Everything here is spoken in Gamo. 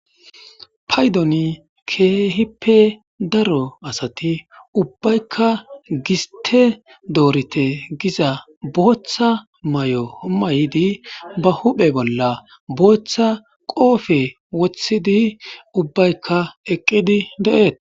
Payiddon kehippe daro asati ubbayika gistte doorite gizza boththa mayo mayiddi ba huphphe bolla boththa qobbe woththidi ubbayika eqqidi de'etes.